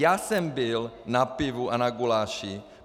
Já jsem byl na pivu a na guláši.